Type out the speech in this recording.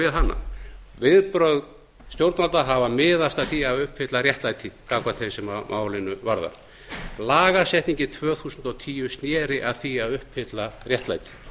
við hana viðbrögð stjórnvalda hafa miðast að því að uppfylla réttlæti gagnvart þeim sem málið varðar lagasetningin tvö þúsund og tíu sneri að því að uppfylla réttlæti